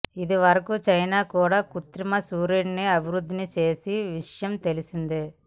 ఇదివరకు చైనా కూడా కృత్రిమ సూర్యుడిని అభివృద్ధి చేసిన విషయం తెలిసిందే